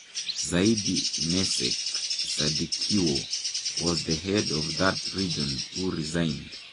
Saidi Meck Sadikiwho was the head of that region who resigned.